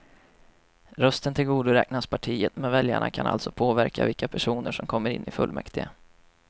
Rösten tillgodoräknas partiet, men väljarna kan alltså påverka vilka personer som kommer in i fullmäktige.